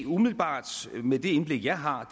umiddelbart med det indblik jeg har